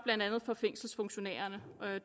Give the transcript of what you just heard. for fængselsfunktionærerne